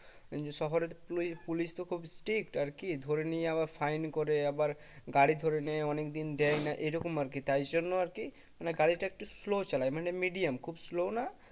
শহরের পলি police তো খুব strict আর কি ধরে নিয়ে আবার fine করে আবার গাড়ি ধরে নেয় অনেকদিন দেয় না এরকম আর কি তাই জন্য আর কি মানে গাড়িটা একটু slow চালাই মানে medium খুব slow ও না